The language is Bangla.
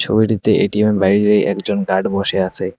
ছবিটিতে এ_টি_এম -এর বাইরে একজন গার্ড বসে আছে।